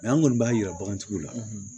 an kɔni b'a yira bagantigiw la